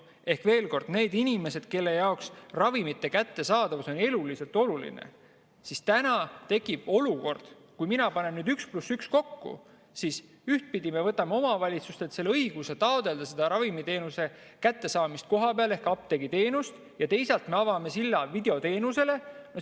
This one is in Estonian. Ehk veel kord: inimestele on ravimite kättesaadavus eluliselt oluline, aga nüüd – ma panen 1 + 1 kokku – tekib olukord, kus ühtpidi me võtame omavalitsustelt õiguse taotleda ravimiteenuse ehk apteegiteenuse kättesaadavust kohapeal ja teisalt me avame silla videoteenusele.